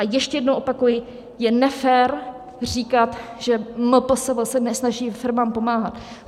A ještě jednou opakuji, je nefér říkat, že MPSV se nesnaží firmám pomáhat.